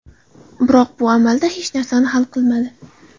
Biroq bu amalda hech narsani hal qilmadi.